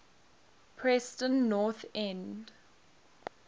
preston north end